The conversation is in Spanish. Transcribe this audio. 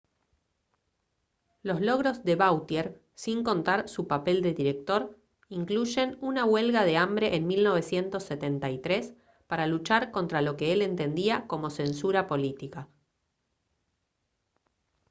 los logros de vautier sin contar su papel de director incluyen una huelga de hambre en 1973 para luchar contra lo que él entendía como censura política